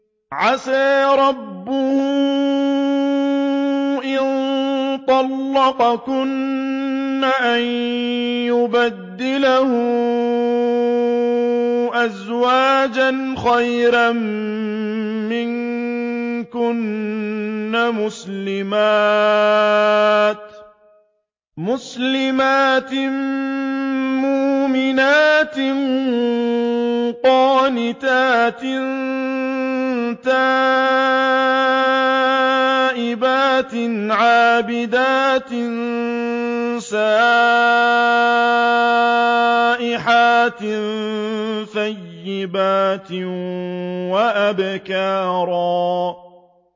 عَسَىٰ رَبُّهُ إِن طَلَّقَكُنَّ أَن يُبْدِلَهُ أَزْوَاجًا خَيْرًا مِّنكُنَّ مُسْلِمَاتٍ مُّؤْمِنَاتٍ قَانِتَاتٍ تَائِبَاتٍ عَابِدَاتٍ سَائِحَاتٍ ثَيِّبَاتٍ وَأَبْكَارًا